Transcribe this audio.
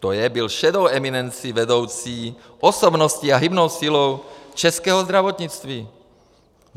To je, byl šedou eminencí, vedoucí osobností a hybnou silou českého zdravotnictví.